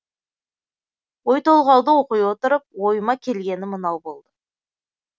ой толғауды оқи отырып ойыма келгені мынау болды